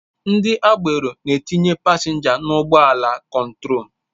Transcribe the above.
Ndị agbero na-etinye pasenja n'ụgbọ ala kontrol